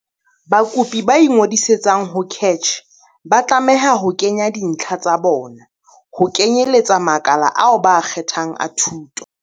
Bakopi ba ingodisang ho CACH ba tlameha ho kenya dintlha tsa bona, ho kenyeletsa makala ao ba a kgethang a thuto.